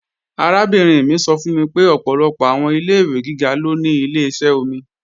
Arábìnrin mi sọ fún mi pé ọ̀pọ̀lọpọ̀ àwọn ilé-ìwé gíga ló ní Ileṣẹ́ omi